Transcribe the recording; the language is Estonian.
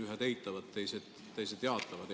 Ühed eitavad, teised jaatavad.